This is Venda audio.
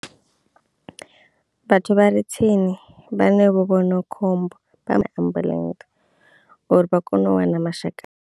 Vhathu vha re tsini vhane vho vhona khombo ambuḽentse uri vha kono u wana mashaka.